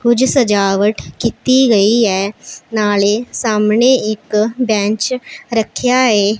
ਕੁਝ ਸਜਾਵਟ ਕੀਤੀ ਗਈ ਹੈ ਨਾਲੇ ਸਾਹਮਣੇ ਇੱਕ ਬੈਂਚ ਰੱਖਿਆ ਏ।